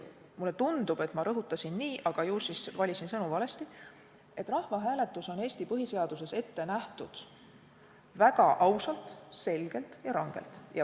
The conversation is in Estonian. Mulle tundub, et ma rõhutasin nii, aga ju siis valisin sõnu valesti, et rahvahääletus on Eesti põhiseaduses ette nähtud väga ausalt, selgelt ja rangelt.